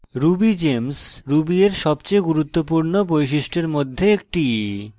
rubygems ruby এর সবচেয়ে গুরুত্বপূর্ণ বৈশিষ্ট্য এর মধ্যে একটি